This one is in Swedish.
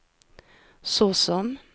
såsom